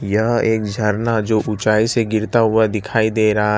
यह एक झरना जो ऊंचाई से गिरता हुआ दिखाई दे रहा --